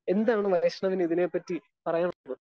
Speaker 1 എന്താണ് വൈഷ്ണവിന് ഇതിനെ പറ്റി പറയാനുള്ളത്?